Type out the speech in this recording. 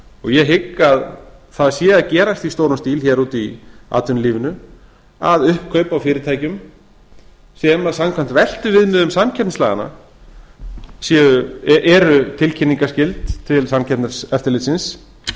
ég hygg að það sé að gerast í stórum stíl hér úti í atvinnulífinu að uppkaup á fyrirtækjum sem samkvæmt veltuviðmiðum samkeppnislaganna eru tilkynningarskyld til samkeppniseftirlitsins